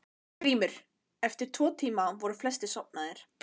GRÍMUR: Eftir tvo tíma voru flestir sofnaðir.